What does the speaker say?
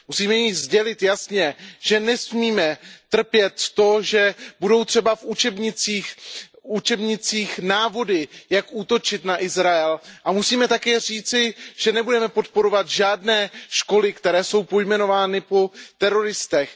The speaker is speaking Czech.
Musíme jí sdělit jasně, že nehodláme trpět to, že budou třeba v učebnicích návody, jak útočit na Izrael, a musíme také říci, že nebudeme podporovat žádné školy, které jsou pojmenovány po teroristech.